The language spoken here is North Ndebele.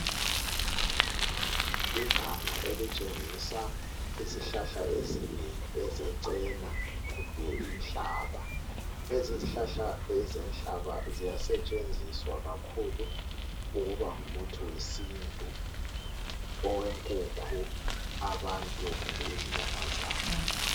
Iganga elitshengisa izihlahla ezinengi ezecena kumbe inhlaba. Lezi zihlahla ezenhlaba ziyasetshenziswa kakhulu ukuba ngumuthi wesintu, owenkukhu, abantu kumbe izinyamazana.